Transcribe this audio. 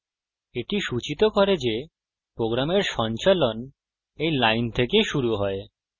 এটি সূচিত করে যে program সঞ্চালন এই line থেকে শুরু হয়